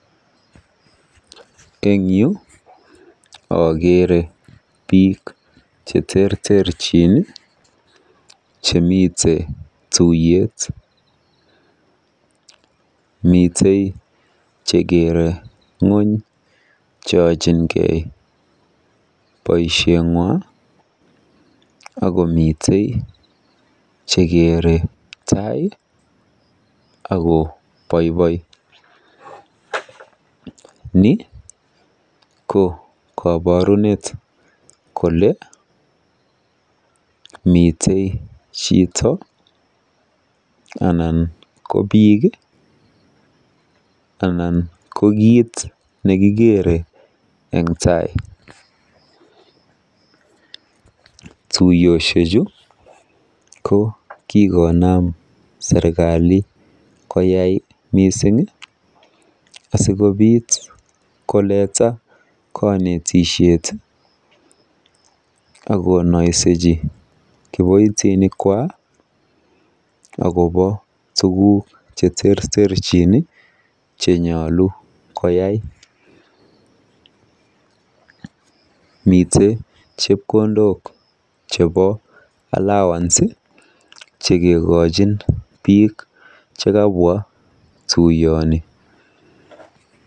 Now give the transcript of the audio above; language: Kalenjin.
En yu akeere biik cheterterchin chemite tuiyet. Mitei chekeere ng'ony cheochinkei boisietng'wa akomitei chekeere tai akoboiboi. Ni ko koborunet kole mite chito anan ko biik anan ko kiiit nekikeere eng tai. Tuyioshechu ko kikonaam serikali koyai mising asikobiit koleta konetishet akonoisechi kiboitinikwa akobo tuguuk cheterterchin chenyolu koyai. Mitei chepkondok chebo Allowance chekekochin biik chekabwa tuiyoni.